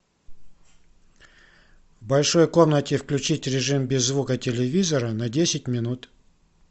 в большой комнате включить режим без звука телевизора на десять минут